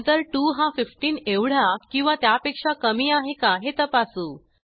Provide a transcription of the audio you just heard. नंतर 2 हा 15एवढा किंवा त्यापेक्षा कमी आहे का हे तपासू